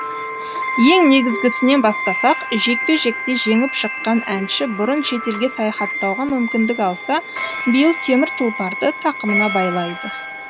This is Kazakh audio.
ең негізгісінен бастасақ жекпе жекте жеңіп шыққан әнші бұрын шетелге саяхаттауға мүмкіндік алса биыл темір тұлпарды тақымына байлайды